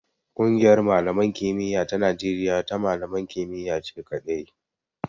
Ƙungiyar malaman kimiya ta Najeriya ta malaman kimiyya ce kaɗai.